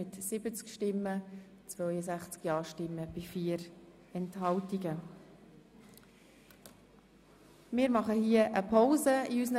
An dieser Stelle unterbrechen wir unsere Beratungen und machen eine Pause.